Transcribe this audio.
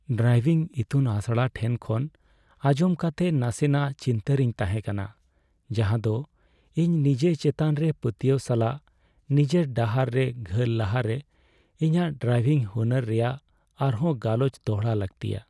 Driving ᱤᱛᱩᱱ ᱟᱥᱲᱟ ᱴᱷᱮᱱ ᱠᱷᱚᱱ ᱟᱸᱡᱚᱢ ᱠᱟᱛᱮ ᱱᱟᱥᱮᱱᱟᱜ ᱪᱤᱱᱛᱟᱹᱨᱮᱧ ᱛᱟᱦᱮᱸ ᱠᱟᱱᱟ ᱡᱟᱦᱟᱸᱫᱚ ᱤᱧ ᱱᱤᱡᱮ ᱪᱮᱛᱟᱱ ᱨᱮ ᱯᱟᱹᱛᱭᱟᱹᱣ ᱥᱟᱞᱟᱜ ᱱᱤᱡᱮᱨ ᱰᱟᱦᱟᱨ ᱨᱮ ᱜᱷᱟᱹᱞ ᱞᱟᱦᱟᱨᱮ ᱤᱧᱟᱹᱜ ᱰᱨᱟᱭᱵᱷᱤᱝ ᱦᱩᱱᱟᱹᱨ ᱨᱮᱭᱟᱜ ᱟᱨᱦᱚᱸ ᱜᱟᱞᱚᱪ ᱫᱚᱲᱦᱟ ᱞᱟᱹᱠᱛᱤᱭᱟ ᱾